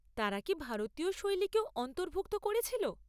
তারা কি ভারতীয় শৈলীকেও অন্তর্ভুক্ত করেছিল?